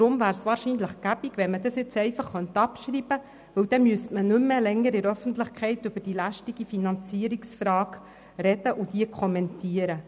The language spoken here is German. Deshalb wäre es praktisch, wenn man den Vorstoss abschreiben könnte, denn dann müsste man nicht länger in der Öffentlichkeit über die lästige Finanzierungsfrage sprechen und sie kommentieren.